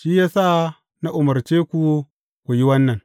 Shi ya sa na umarce ku ku yi wannan.